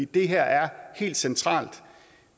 det her er helt centralt